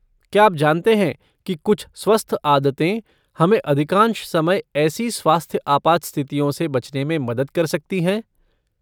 क्या आप जानते हैं कि कुछ स्वस्थ आदतें हमें अधिकांश समय ऐसी स्वास्थ्य आपात स्थितियों से बचने में मदद कर सकती हैं?